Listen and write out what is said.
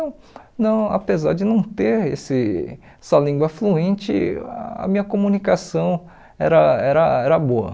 Então, não apesar de não ter esse essa língua fluente, a minha comunicação era era era boa.